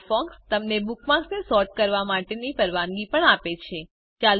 Firefox તમને બુકમાર્ક્સને sort કરવા માટેની પરવાનગી પણ આપે છે